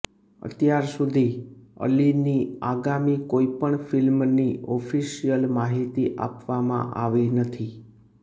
અત્યાર સુધી અલીની આગામી કોઈપણ ફિલ્મની ઑફિશિયલ માહિતી આપવામાં આવી નથી